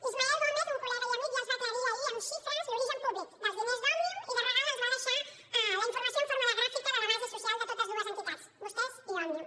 ismael peña lópez un col·lega i amic ja els va aclarir ahir amb xifres l’origen públic dels diners d’òmnium i de regal els va deixar la informació en forma de gràfica de la base social de totes dues entitats vostès i òmnium